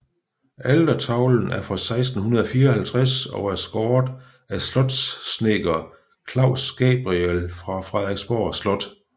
Altertavlen er fra 1654 og er skåret af slotssnedker Claus Gabriel fra Frederiksborg Slot